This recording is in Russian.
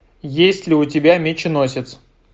есть ли у тебя меченосец